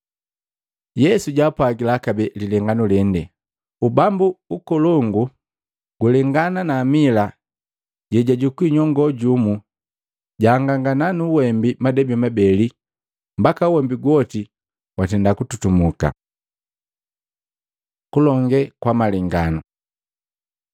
Yesu jaapwagila kabee lilenganu lengi, “Ubambu ukolongu gulengana na amila lejajukua nyongoo jumu, jasanganya nu uwembi madebi mabeli, mbaka uwembi gwoti watenda kututumuka.” Kulonge kwa malenganu Maluko 4:33-34